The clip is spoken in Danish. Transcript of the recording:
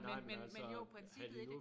Men men men jo princippet i det